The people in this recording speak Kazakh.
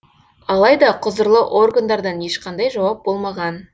алайда құзырлы органдардан ешқандай жауап болмаған